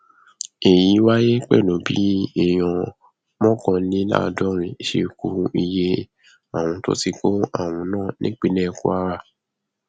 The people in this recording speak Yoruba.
èyí wáyé pẹlú bí èèyàn mọkànléláàádọrin ṣe kún iye àwọn tó ti kó àrùn náà nípínlẹ kwara